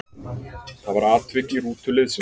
Það var atvik í rútu liðsins.